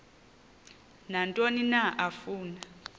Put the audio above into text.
nantoni na afuna